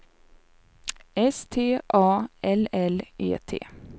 S T A L L E T